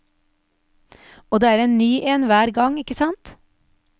Og det er en ny en hver gang, ikke sant.